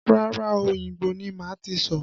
Rárá o, Òyìngbò ni màá ti sọ̀.